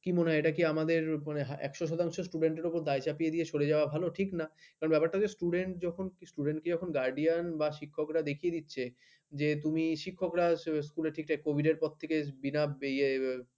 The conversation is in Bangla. কি মনে হয় এটা কি আমাদের আক্সঅ পার সেন্ট student দের উপর দায় চাপিয়ে দিয়ে সরে যাওয়া ভালো ঠিক না কি হছে ব্যাপারটা student যখন student কে যখন গার্ড দিয়েন শিক্ষকেরা দেখিয়ে দিচ্ছি যে তুমি শিক্ষকেরা ঠিকঠাক স্কুলে কবিদের পর থেকে বিনা এয়ে